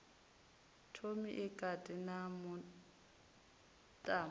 thomi e kati na mutambo